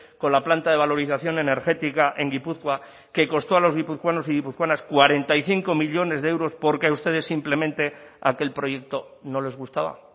con la planta de valorización energética en gipuzkoa que costó a los guipuzcoanos y guipuzcoanas cuarenta y cinco millónes de euros porque a ustedes simplemente aquel proyecto no les gustaba